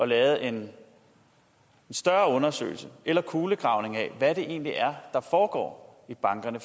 lavet en større undersøgelse eller kulegravning af hvad det egentlig er der foregår i bankerne